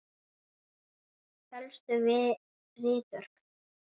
Helstu ritverk